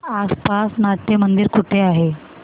आसपास नाट्यमंदिर कुठे आहे